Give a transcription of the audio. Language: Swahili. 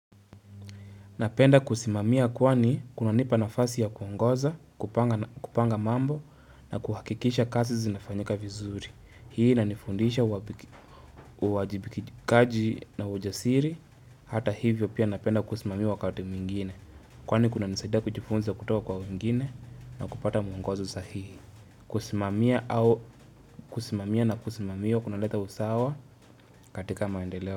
Napenda kusimamia kwani kunanipa nafasi ya kuongoza, kupanga mambo na kuhakikisha kazi zinafanyika vizuri. Hii inanifundisha uwajibikikaji na ujasiri, hata hivyo pia napenda kusimamiwa wakati mwingine. Kwani kunanisaida kujifunza kutuwa kwa wengine na kupata muongozo sahihi. Kusimamia na kusimamiwa kuna leta usawa katika maendeleo.